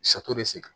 de sen